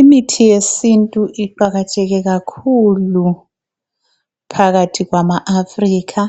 Imithi yesintu iqakatheke kakhulu phakathi kwama Afrikha,